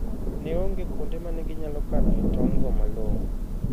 Ne onge kuonde ma ne ginyalo kanoe tong'go malong'o.